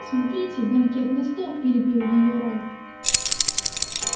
смотрите банкетный стол перебил её рон